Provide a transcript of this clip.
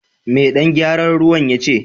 Me dan gyaran ruwan ya ce?